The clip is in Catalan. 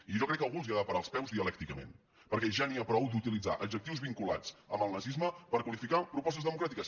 i jo crec que algú els ha de parar els peus dialècticament perquè ja n’hi ha prou d’utilitzar adjectius vinculats amb el nazisme per qualificar pro·postes democràtiques